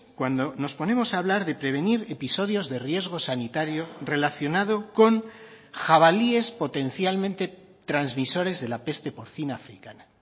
cuando nos ponemos a hablar de prevenir episodios de riesgo sanitario relacionado con jabalíes potencialmente transmisores de la peste porcina africana